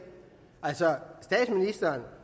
altså statsministeren